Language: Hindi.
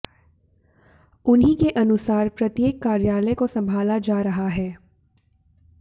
उन्हीं के अनुसार प्रत्येक कार्यालय को संभाला जा रहा है